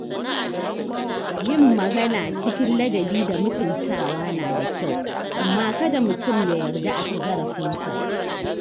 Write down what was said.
Yin magana cikin ladabi da mutuntawa nada kyau, amma kada mutum ya yarda a ci zarafinsa.